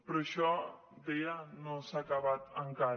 però això deia no s’ha acabat encara